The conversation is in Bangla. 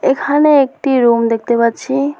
এখানে একটি রুম দেখতে পাচ্ছি।